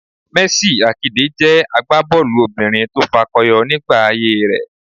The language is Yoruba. Mercy Àkidè jẹ́ àgbábọ́ọ̀lù obìnrin tó fakọyọ nígbà ayé rẹ